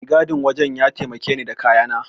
Mai gadin wajen ya taimake ni da kayana.